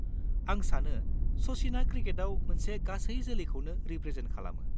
आं सानो सचिनआ क्रिकेटआव मोनसे गासै जोलैखौनो रिप्रेजेन्ट खालामो।